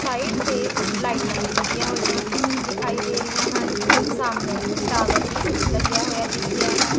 Side ਤੇ ਲਾਈਟਾਂ ਵੀ ਲੱਗੀਆਂ ਹੋਈਆਂ ਦਿਖਾਈ ਦੇ ਰਹੀਆਂ ਹਨ ਸਾਹਮਣੇ ਟਾਵਰ ਵੀ ਲੱਗਿਆ ਹੋਇਆ ਦਿਸ ਰਿਹਾ ਹੈ।